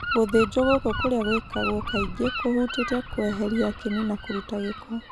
Gũthĩnjwo gũkũ kũrĩa gwĩkagwo kaingĩ, kũhutĩtie kũeheria kĩni na kũrũta gĩko.